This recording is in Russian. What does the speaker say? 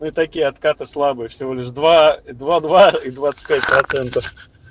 ну такие откаты слабые всего лишь два два два и двадцать пять процентов